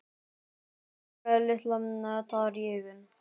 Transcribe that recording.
Nú fékk Lilla tár í augun.